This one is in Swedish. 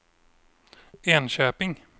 Enköping